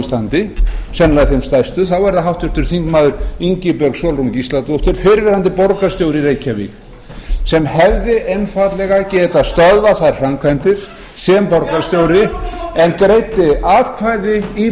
íslandi sennilega þeim stærstu þá er það háttvirtur þingmaður ingibjörg sólrún gísladóttir fyrrverandi borgarstjóri í reykjavík sem hefði einfaldlega getað stöðvað þær framkvæmdir sem borgarstjóri en greiddi atkvæði í